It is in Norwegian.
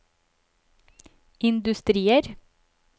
industrier